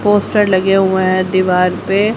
Poster लगे हुए है दीवार पे।